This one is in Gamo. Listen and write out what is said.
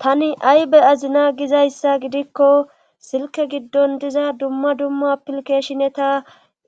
Tani aybe azina gizayssa gidikko silke giddon diza dumma dumma pilkeshineta